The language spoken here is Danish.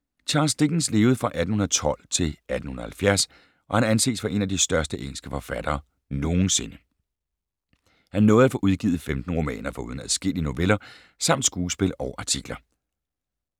Charles Dickens levede fra 1812 til 1870 og han anses for en af de største engelske forfattere nogensinde. Han nåede at få udgivet 15 romaner foruden adskillige noveller, samt skuespil og artikler.